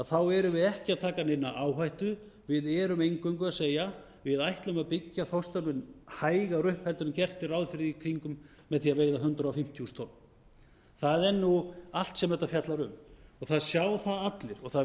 þá erum sið ekki að taka neina áhættu við erum eingöngu að segja við ætlum að byggja þorskstofninn hægar upp en gert er ráð fyrir með því að veiða hundrað fimmtíu þúsund tonn það er nú allt sem þetta fjallar um það sjá það allir og það